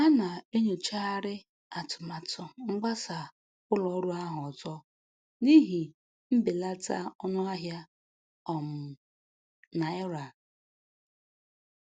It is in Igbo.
A na-enyochagharị atụmatụ mgbasa ụlọ ọrụ ahụ ọzọ n'ihi mbelata ọnụ ahịa um naira.